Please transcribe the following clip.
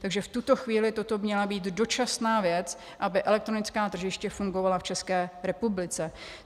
Takže v tuto chvíli toto měla být dočasná věc, aby elektronická tržiště fungovala v České republice.